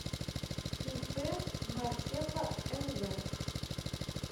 ип мартеха нв